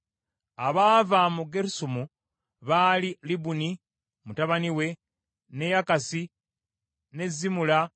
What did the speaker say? Abaava mu Gerusomu baali Libuni mutabani we, ne Yakasi, ne Zimura,